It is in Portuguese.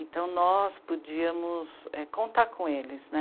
Então, nós podíamos, é... contar com eles, né?